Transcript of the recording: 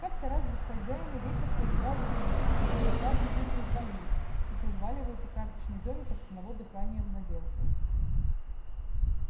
как-то раз без хозяина ветер поиграл с домиком и он сразу весь развалился как разваливается карточный домик от одного дыхания младенца